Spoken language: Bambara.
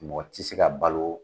Mɔgɔ tɛ se ka balo